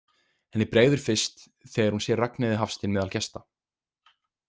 Henni bregður fyrst þegar hún sér Ragnheiði Hafstein meðal gesta.